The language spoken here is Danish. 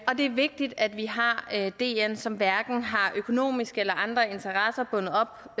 og det er vigtigt at vi har dn som hverken har økonomiske eller andre interesser bundet op